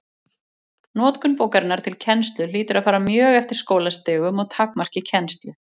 Notkun bókarinnar til kennslu hlýtur að fara mjög eftir skólastigum og takmarki kennslu.